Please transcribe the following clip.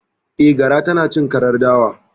Eh, gara tanacin karar dawa